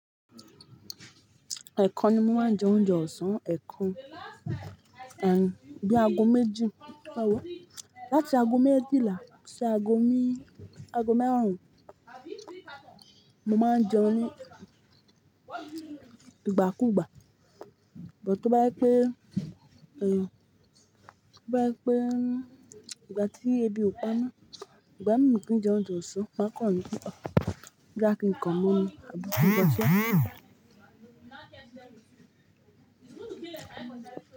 Ẹ̀kan ni mo máa ń jẹ oúnjẹ ọ̀sán, ẹ̀kan ati bíi ago méjì, ewo láti ago méjìlá sí ago marun, mo máa ń jẹun ní ìgbà kú ìgbà, sugbon to bá je pé ígbà tí ebi ò pami, ìgbà mí kì í jẹ oúnjẹ ọ̀sán, maà kan ní boyá kí n kan mu omi àbí ṣe ìbọn sí ọ.